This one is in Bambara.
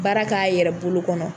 baara k'a yɛrɛ bolo kɔnɔ.